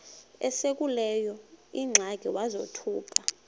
esekuleyo ingxaki wazothuka